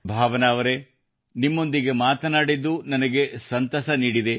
ಭಾವನಾ ಅವರೇ ನಿಮ್ಮೊಂದಿಗೆ ಮಾತನಾಡಿದ್ದು ನನಗೆ ಸಂತಸ ನೀಡಿದೆ